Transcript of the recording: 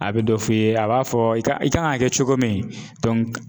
A bɛ dɔ f'i ye a b'a fɔ i ka i kan ka kɛ cogo min